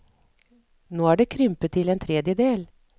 Nå er det krympet til en tredjedel.